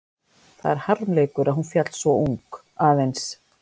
Það er harmleikur að hún féll svo ung, aðeins